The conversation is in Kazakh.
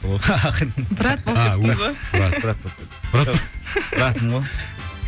брат болып кеттіңіз бе